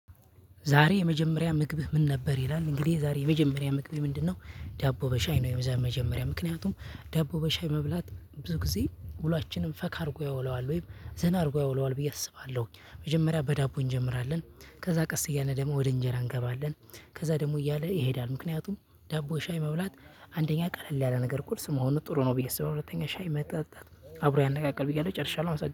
ዛሬ የመጀመሪያ ምግብህ ምን ነበር ይላል እንግዲህ ዛሬ የመጀመሪያ ምግቤ ምንድነው? ዳቦ በሻይ ነው የመጀመሪያ ምክንያቱም ዳቦ በሻይ መብላት ብዙ ጊዜ ውሏችንን ፈካ አድርጎ ያውለዋል ወይም ዘና አድርጎ ያውለዋል ብዬ አስባለሁ። መጀመሪያ በዳቦ እንጀምራለን ከዛ ቀስ እያለ ደግሞ ወደ እንጀራ እንገባለን። ከዛ ደግሞ እያለ ይሄዳል ምክንያቱም ዳቦ ሻይ መብላት አንደኛ ቀለል ያለ ነገር ቁርስ መሆኑ ጥሩ ነው። ብዬ ሰው ሁለተኛ ሻይ መጠጣት አብሮ ያነቃቃል ብዬ አለው ጨርሻለሁ